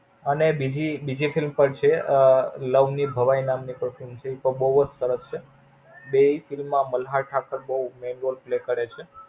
અને બીજી બીજી એક Film પણ છે અઅ લવની ભવાઈ નામની એક Film છે ઈ તો બોવ જ સરસ છે. બેય Film માં મલ્હાર ઠક્કર બોવ Jenualpaly કરે છે.